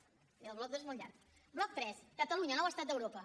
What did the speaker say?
i el bloc dos és molt llarg bloc tres catalunya nou estat d’europa